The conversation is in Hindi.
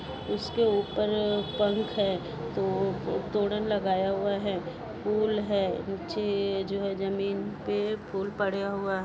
उसके ऊपर पंख है तो तोरण लगाया हुआ है फूल है नीचे जो है जमीन पे फूल पड़े हुआ--